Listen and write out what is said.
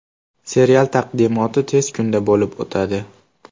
Serial taqdimoti tez kunda bolib o‘tadi.